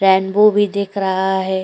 Rainbow भी दिख रहा है।